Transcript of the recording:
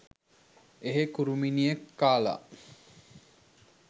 එහේ කුරුමිනියෙක් කාලා